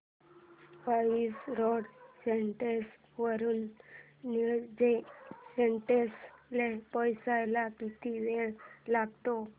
Vasai road station वरून Nilje station ला पोहचायला किती वेळ लागतो